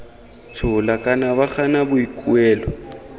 tshola kana ba gana boikuelo